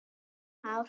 Bjarni Már.